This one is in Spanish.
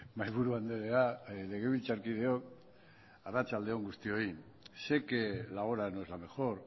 mahaiburu andrea legebiltzarkideok arratsalde on guztioi sé que la hora no es la mejor